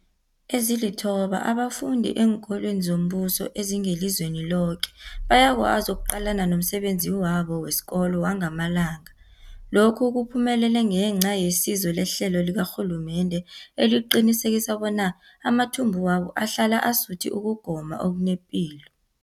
Ezilithoba abafunda eenkolweni zombuso ezingelizweni loke bayakwazi ukuqalana nomsebenzi wabo wesikolo wangamalanga. Lokhu kuphumelele ngenca yesizo lehlelo likarhulumende eliqinisekisa bona amathumbu wabo ahlala asuthi ukugoma okunepilo.